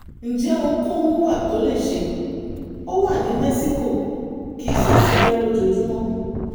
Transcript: ǹjẹ́ ohunkóhun wà tó lè ṣe? ó wà ní mẹ́síkò kì í sì sáré lójoojúmọ́